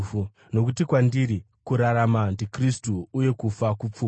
Nokuti kwandiri, kurarama ndiKristu uye kufa kupfuma.